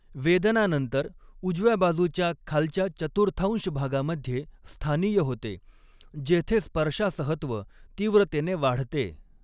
वेदना नंतर उजव्या बाजूच्या खालच्या चतुर्थांश भागामध्ये 'स्थानीय' होते जेथे स्पर्शासहत्व तीव्रतेने वाढते.